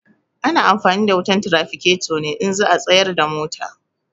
Ana amfani da wutan tiraficato ne in za a tsayar da mota.